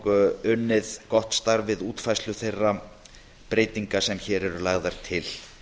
og unnið gott starf við útfærslu þeirra breytinga sem hér eru lagðar til